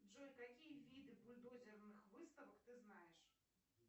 джой какие виды бульдозерных выставок ты знаешь